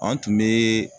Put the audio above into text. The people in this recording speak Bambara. An tun bɛ